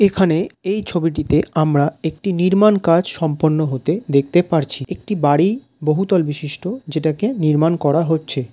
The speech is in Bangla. এখানে এই ছবিটিতে আমরা একটি নির্মাণ কাজ সম্পন্ন হতে দেখতে পারছি একটি বাড়ি বহুতল বিশিষ্ট যেটাকে নির্মাণ করা হচ্ছে।